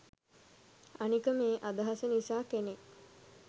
අනික මේ අදහස නිසා කෙනෙක්